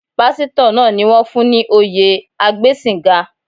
Pásítọ̀ náà ni wón fún ní oyè agbẹ́sìnga.